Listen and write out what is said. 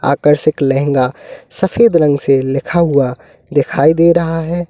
आकर्षक लहंगा सफेद रंग से लिखा हुआ दिखाई दे रहा है।